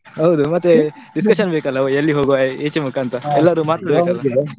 Speaker 1: ಹೌದು, ಮತ್ತೇ discussion ಬೇಕಲ್ಲಾ ಎಲ್ಲಿ ಹೋಗುವ ಏಚೆ ಮುಕಾಂತ .